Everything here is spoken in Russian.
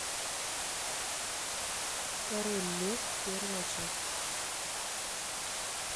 король лев первая часть